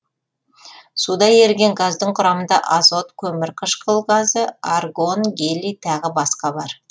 суда еріген газдың құрамында азот көмір қышқыл газы аргон гелий тағы басқа бар